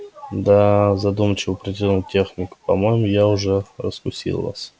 да задумчиво протянул техник по-моему я уже раскусил вас